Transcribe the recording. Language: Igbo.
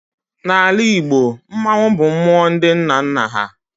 Na Ala Igbo, Mmannwụ bụ mmụọ ndị nna nna ha